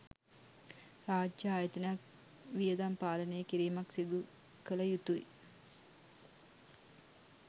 රාජ්‍ය ආයතනයක් වියදම් පාලනය කිරීමක් සිදු කළ යුතුයි.